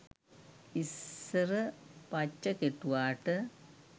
ඉස්සර පච්ච කෙටුවාට